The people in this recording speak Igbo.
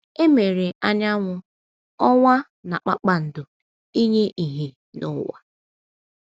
E mere anyanwụ, ọnwa, na kpakpando ‘ inye ìhè n’ụwa. ’